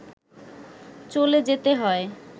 চলে যেতে হয়